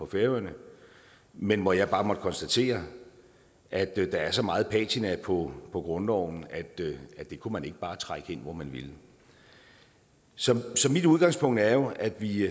færøerne men hvor jeg bare måtte konstatere at der er så meget patina på på grundloven at det kunne man ikke bare trække ind hvor man ville så mit udgangspunkt er jo at vi